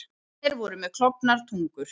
Drekarnir voru með klofnar tungur.